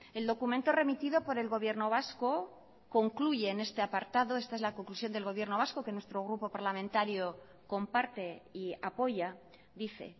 el documento remitido por el gobierno vasco concluye en este apartado esta es la conclusión del gobierno vasco que nuestro grupo parlamentario comparte y apoya dice